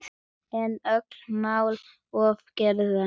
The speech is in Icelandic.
En öllu má ofgera.